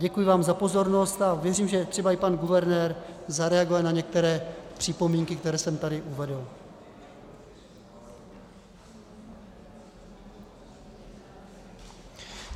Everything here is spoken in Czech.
Děkuji vám za pozornost a věřím, že třeba i pan guvernér zareaguje na některé připomínky, které jsem tady uvedl.